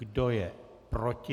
Kdo je proti?